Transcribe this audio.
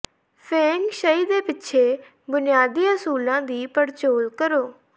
feng ਸ਼ਈ ਦੇ ਪਿੱਛੇ ਬੁਨਿਆਦੀ ਅਸੂਲਾਂ ਦੀ ਪੜਚੋਲ ਕਰੋ